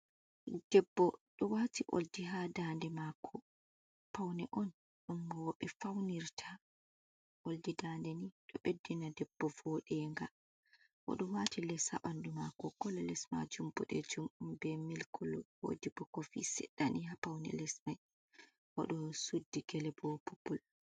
Debbo ɗo wati ɓoldi haa ndande mako, paune on dumm rowɓe faunirta, ɓoldi ndande nii ɗo beddina debbo vooɗenga, o ɗo wati les haa ɓandu mako kole les majum boɗejum be mil kolo, woodi bo kofi sedda ni haa paune les man, o ɗo suddi gele bo popul.